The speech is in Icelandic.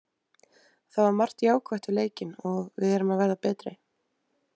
Það var margt jákvætt við leikinn og við erum að verða betri.